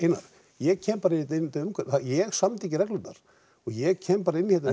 ég kem bara í þetta umhverfi ég samdi ekki reglurnar ég kem bara inn í þetta